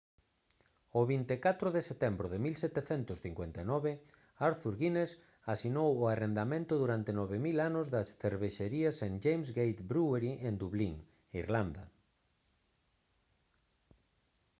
o 24 de setembro de 1759 arthur guinness asinou o arrendamento durante 9000 anos da cervexeira st james' gate brewery en dublín irlanda